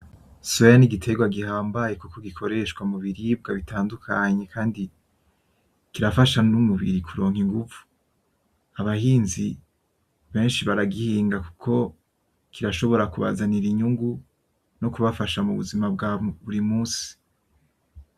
Soya, n'igitegwa gihambaye kuko gikoreshwa mu biribwa bitandukanye kandi, kirafasha n'umubiri kuronka inguvu. Abahinzi benshi baragihinga kuko, kirashobora kubazanira inyungu, no kubafasha mu buzima bwa buri munsi.